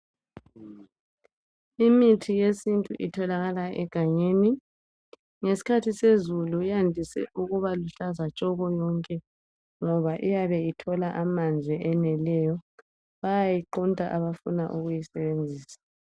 Imithi yesintu itholakala egangeni, ngeskhathi sezulu yandise ukuba luhlaza tshoko yonke ngoba iyabe ithola amanzi eneleyo ,bayayiqunta abafuna ukuyisebenzisa.